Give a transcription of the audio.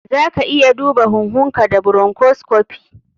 Zaka iya duba huhunka da bronchoscopy.